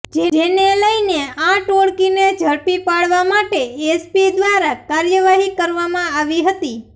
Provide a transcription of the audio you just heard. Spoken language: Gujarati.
જેને લઇને આ ટોળકીને ઝડપી પાડવા માટે એસપી દ્વારા કાર્યવાહી કરવામાં આવી હતી